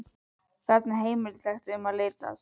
Þarna er heimilislegt um að litast.